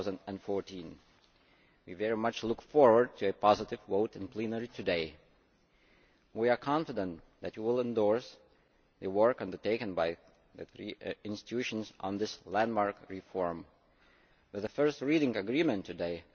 2014. We very much look forward to a positive vote in plenary today. We are confident that you will endorse the work undertaken by the three institutions on this landmark reform with a first reading agreement today.